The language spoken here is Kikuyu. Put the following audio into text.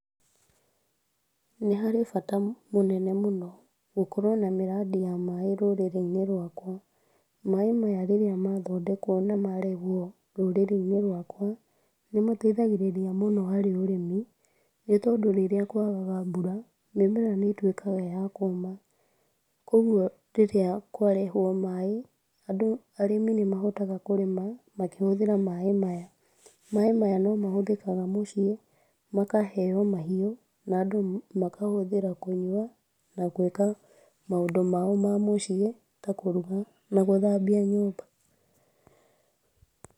Nĩharĩ bata mũnene mũno, gũkorwo na mĩradi ya maaĩ rũrĩrĩ-inĩ rwakwa, maaĩ maya rĩrĩa mathondekwo, na marehwo rũrĩrĩ-inĩ rwakwa , nĩmateithagĩrĩria mũno harĩ ũrĩmi nĩ tondũ rĩrĩa kwagaga mbura mĩmera nĩ ĩtwĩkaga ya kũma, kũgwo rĩrĩa kwarehwo maaĩ andũ, arĩmi nĩmahotaga kũrĩma makĩhũthĩra maaĩ maya, maaĩ maya no mahũthĩkaga mũciĩ makaheo mahiũ, na andũ makahũthĩra kũnyua na gwĩka maũndũ mao ma mũciĩ ta kũruga na gũthabia nyumba.